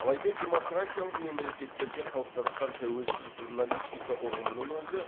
алайда демократиялық мемлекеттерде қалыптасқан тәуелсіз журналистика ұғымының өзі